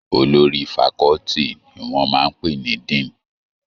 Olórí faculty ni wọ́n máa ń pè ní Dean.